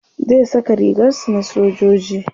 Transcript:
zai Saka rigar su na sojoji